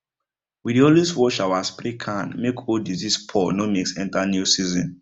we dey always wash our spray can make old disease spore no mix enter new season